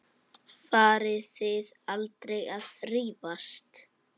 Farið þið aldrei að rífast?